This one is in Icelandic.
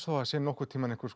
það sé nokkurntíman einhver